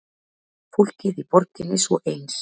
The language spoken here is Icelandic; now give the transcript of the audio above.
Fólkið í borginni svo eins.